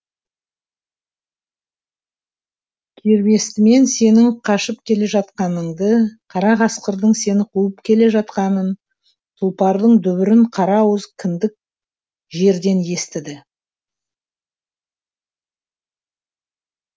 кербестімен сенің қашып келе жатқаныңды қара қасқырдың сені қуып келе жатқанын тұлпардың дүбірін қара ауыз күндік жерден естіді